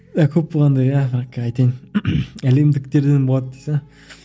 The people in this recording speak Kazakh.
иә көп болғанда иә айтайын әлемдіктерден болады дейсіз бе